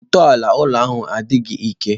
Ntọala ụlọ ahu adịghị ike.